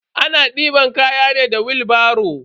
Ana deban kaya ne da wilbaro.